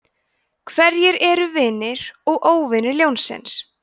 hverjir eru vinir og óvinir ljónsins